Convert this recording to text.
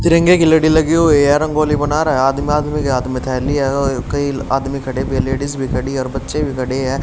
तिरंगे की लड़ी लगी हुई है रंगोली बना रहा है आदमी आदमी के हाथ में थैली है और कई आदमी खड़े भी है लेडिस भी खड़ी और बच्चे भी खड़े हैं।